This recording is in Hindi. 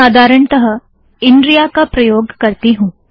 मैं साधारणतः इनरिया का प्रयोग करती हूँ